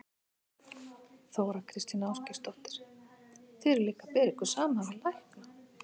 Þóra Kristín Ásgeirsdóttir: Þið eruð líka að bera ykkur saman við lækna?